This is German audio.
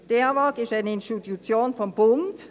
Die Eawag ist eine Institution des Bundes.